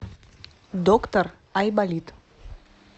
доктор айболит